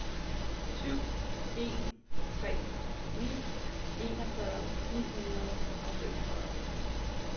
syv en tre ni enogfyrre ni hundrede og femogfyrre